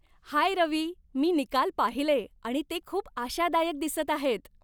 हाय रवी, मी निकाल पाहिले आणि ते खूप आशादायक दिसत आहेत.